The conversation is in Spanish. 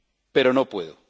Pero no puedo.